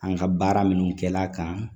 An ka baara minnu kɛl'a kan